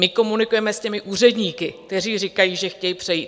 My komunikujeme s těmi úředníky, kteří říkají, že chtějí přejít.